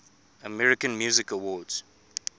american music awards